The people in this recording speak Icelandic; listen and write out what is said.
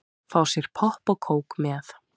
Fá sér popp og kók með.